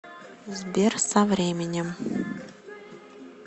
сбер со временем